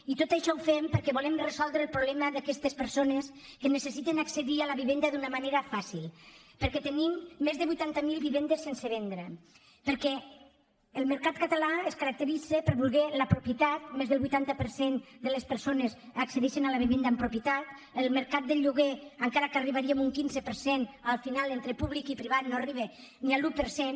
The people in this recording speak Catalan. i tot això ho fem perquè volem resoldre el problema d’aquestes persones que necessiten accedir a la vivenda d’una manera fàcil perquè tenim més de vuitanta mil vivendes sense vendre perquè el mercat català es caracteritza per voler la propietat més del vuitanta per cent de les persones accedeixen a la vivenda en propietat el mercat del lloguer encara que arribaríem a un quinze per cent al final entre públic i privat no arriba ni a l’un per cent